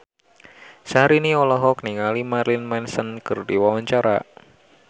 Syahrini olohok ningali Marilyn Manson keur diwawancara